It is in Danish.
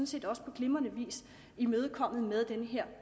set også på glimrende vis imødekommet med den her